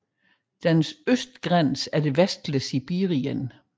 Dens østgrænse er det vestlige Sibirien